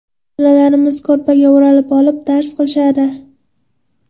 Bolalarimiz ko‘rpaga o‘ralib olib, dars qilishadi.